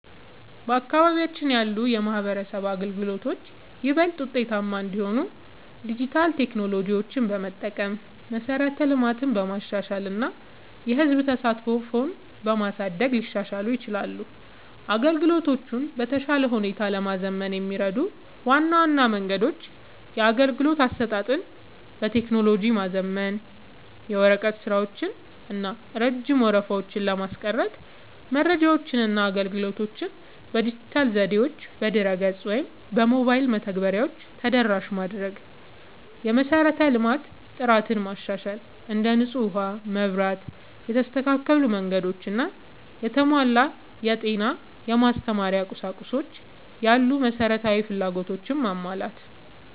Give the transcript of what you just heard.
በአካባቢያችን ያሉ የማህበረሰብ አገልግሎቶች ይበልጥ ውጤታማ እንዲሆኑ ዲጂታል ቴክኖሎጂዎችን በመጠቀም፣ መሠረተ ልማትን በማሻሻል እና የህዝብ ተሳትፎን በማሳደግ ሊሻሻሉ ይችላሉ። አገልግሎቶቹን በተሻለ ሁኔታ ለማዘመን የሚረዱ ዋና ዋና መንገዶች - የአገልግሎት አሰጣጥን በቴክኖሎጂ ማዘመን፦ የወረቀት ስራዎችን እና ረጅም ወረፋዎችን ለማስቀረት መረጃዎችንና አገልግሎቶችን በዲጂታል ዘዴዎች (በድረ-ገጽ ወይም በሞባይል መተግበሪያዎች) ተደራሽ ማድረግ። የመሠረተ ልማት ጥራትን ማሻሻል፦ እንደ ንጹህ ውሃ፣ መብራት፣ የተስተካከሉ መንገዶች እና የተሟላ የጤና/የማስተማሪያ ቁሳቁስ ያሉ መሠረታዊ ፍላጎቶችን ማሟላት።